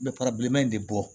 N bɛ bileman in de bɔ